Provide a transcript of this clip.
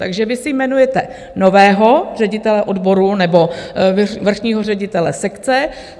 Takže vy si jmenujete nového ředitele odboru nebo vrchního ředitele sekce.